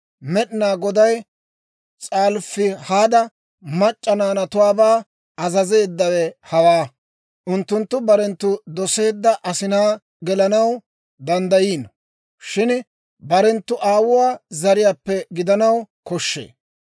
Med'inaa Goday S'alofihaada mac'c'a naanatuwaabaa azazeeddawe hawaa; unttunttu barenttu doseedda asinaa gelanaw danddayiino; shin barenttu aawuwaa zariyaappe gidanaw koshshee.